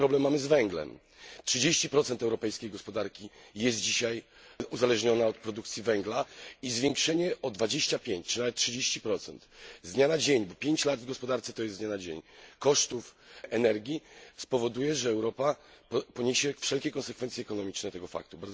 Podobny problem mamy z węglem 30 europejskiej gospodarki jest dzisiaj uzależnione od produkcji węgla i zwiększenie o 25 czy nawet 30 z dnia na dzień bo 5 lat w gospodarce to jest z dnia na dzień kosztów energii spowoduje, że Europa poniesie wszelkie konsekwencje ekonomiczne tego faktu.